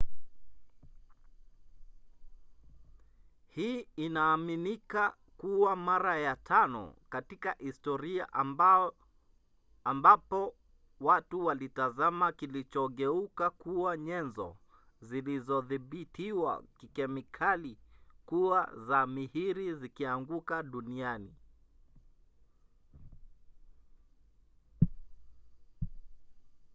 hii inaaminika kuwa mara ya tano katika historia ambapo watu walitazama kilichogeuka kuwa nyenzo zilizothibitiwa kikemikali kuwa za mihiri zikianguka duniani